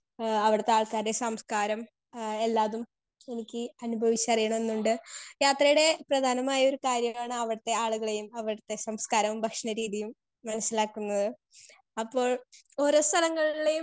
speaker 2 ഏഹ് അവിടുത്തെ ആൾക്കാരുടെ സംസ്ക്കാരം എഹ് എല്ലാതും എനിക്ക് അനുഭവിച്ച് അറിയണം ന്ന് ഉണ്ട് യാത്രയടെ പ്രധാനമായൊരു കാര്യാണ് അവടത്തെ ആളുകളെയും അവിടുത്തെ സംസ്ക്കാരോം ഭക്ഷണ രീതിയും മനസിലാകുന്നത് അപ്പോൾ ഓരോ സ്ഥലങ്ങളിലിയും